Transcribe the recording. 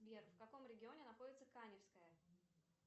сбер в каком регионе находится каневская